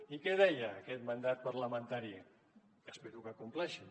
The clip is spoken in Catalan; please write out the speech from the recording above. i què deia aquest mandat parlamentari que espero que compleixin